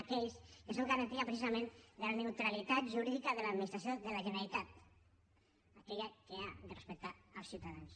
aquells que són garantia precisament de la neutralitat jurídica de l’administració de la generalitat aquella que ha de respectar els ciutadans